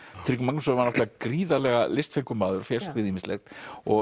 Tryggvi Magnússon var náttúrulega gríðarlega maður og fékkst við ýmislegt og